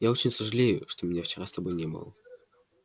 я очень сожалею что меня вчера с тобой не было